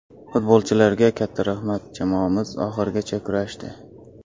Futbolchilarga katta rahmat, jamoamiz oxirigacha kurashdi.